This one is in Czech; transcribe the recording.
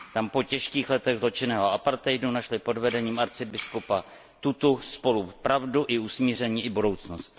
Tam po těžkých letech zločinného apartheidu našli pod vedením arcibiskupa Tutu spolu pravdu i usmíření i budoucnost.